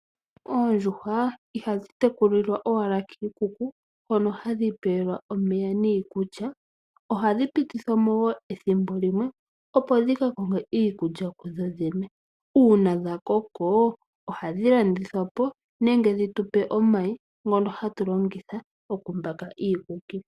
Oondjuhwa ihadhi tekulilwa owala kiikuku hono hadhi pewelwa omeya niikulya, ohadhi pitithwa mo wo ethimbo limwe opo dhika konge iikulya kudho dhene. Uuna dhakoko ohadhi landithwa po nenge dhitu pe omayi ngono haga longithwa okumbaka iikuki.